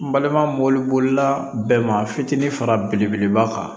N balima moribolila bɛɛ ma fitiinin fara belebeleba kan